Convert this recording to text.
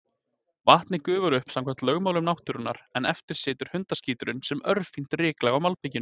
Vatnið gufar upp samkvæmt lögmálum náttúrunnar, en eftir situr hundaskíturinn sem örfínt ryklag á malbikinu.